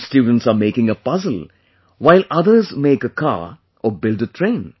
Some students are making a puzzle while another make a car orconstruct a train